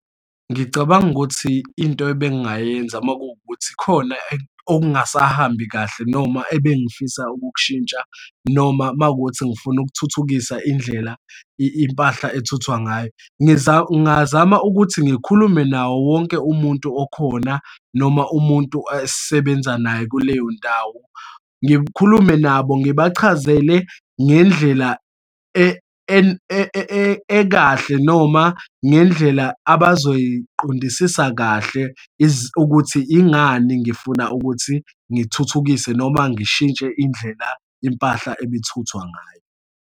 Ngicabanga ukuthi into ebengingayenza uma kuwukuthi khona ongasahambi kahle, noma ebengifisa ukukushintsha, noma uma kuwukuthi ngifuna ukuthuthukisa indlela impahla ethuthwa ngayo. Ngingazama ukuthi ngikhulume nawo wonke umuntu okhona noma umuntu esisebenza naye kuleyo ndawo. Ngikhulume nabo, ngibachazele ngendlela ekahle noma ngendlela abazoyiqondisisa kahle ukuthi ingani ngifuna ukuthi ngithuthukise noma ngishintshe indlela impahla ebithuthwa ngayo.